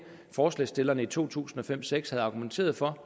forslagsstillerne i to tusind og fem seks havde argumenteret for